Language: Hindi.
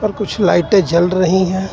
और कुछ लाइटे जल रही है.